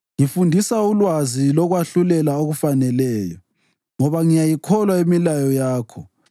Ngifundisa ulwazi lokwahlulela okufaneleyo, ngoba ngiyayikholwa imilayo yakho.